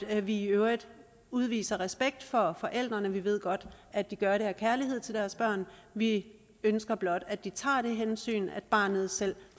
at vi i øvrigt udviser respekt for forældrene vi ved godt at de gør det af kærlighed til deres børn vi ønsker blot at de tager det hensyn at barnet selv